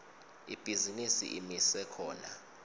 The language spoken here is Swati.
ibhizinisi imise khona